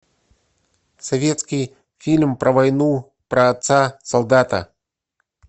советский фильм про войну про отца солдата